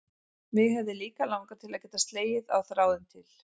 Mig hefði líka langað til að geta slegið á þráðinn til